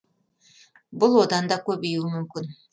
бұл одан да көбеюі мүмкін